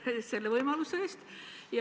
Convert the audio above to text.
Tänan teid selle võimaluse eest!